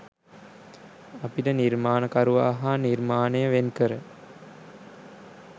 අපට නිර්මාණකරුවා හා නිර්මාණය වෙන් කර